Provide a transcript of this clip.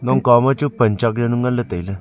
kom kaw ma chu pan chak jawnu ngan ley tailey.